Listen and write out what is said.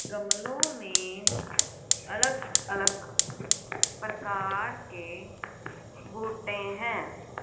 गमलों में अलग अलग प्रकार के बुटे हैं।